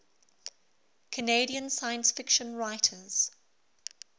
canadian science fiction writers